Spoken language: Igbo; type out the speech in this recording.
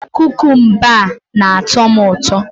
Kukumba a na-atọ m ụtọ